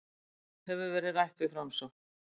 Hefur verið rætt við Framsókn